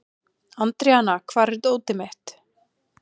Andríana, hvar er dótið mitt?